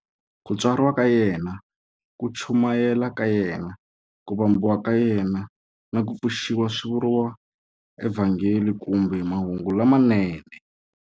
Ku tswariwa ka yena, ku chumayela ka yena, ku vambiwa ka yena, na ku pfuxiwa swi vuriwa eVhangeli kumbe"Mahungu lamanene".